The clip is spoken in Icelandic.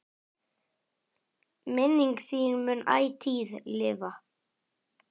Minning þín mun ætíð lifa.